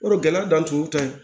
Yɔrɔ gɛlɛya dan tun y'u ta ye